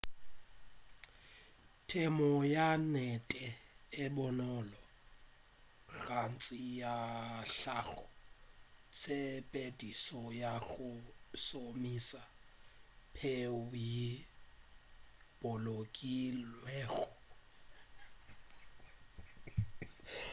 temo ya nnete e bonolo gantši ya hlago tshepedišo ya go šomiša peu yeo e bolokilwego ya setlogo sa selete e hlakantšwe le phetolelo ya dibjalwa goba mekgwa ye mengwe ye bonolo go tšweletša puno ye ntši